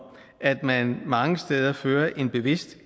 at man mange steder fører en bevidst